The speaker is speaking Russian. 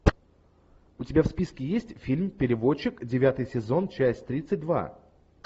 у тебя в списке есть фильм переводчик девятый сезон часть тридцать два